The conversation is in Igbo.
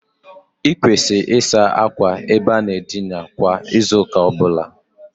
O ga-ekwesi ekwes ika a na-asa akwa nsachi ebe ndina kwa izu uka obula